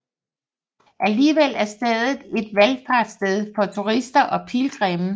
Alligevel er stedet et valfartssted for turister og pilgrimme